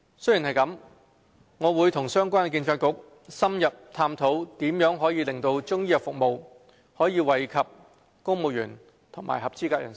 雖然如此，我會與相關政策局深入探討如何令中醫藥服務惠及公務員及合資格人士。